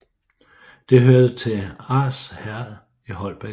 Det hørte til Ars Herred i Holbæk Amt